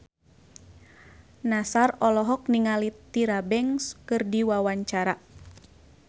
Nassar olohok ningali Tyra Banks keur diwawancara